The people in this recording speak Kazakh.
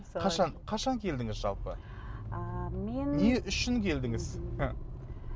қашан қашан келдіңіз жалпы ыыы мен не үшін келдіңіз